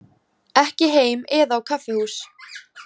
Ekki heim eða á kaffihús.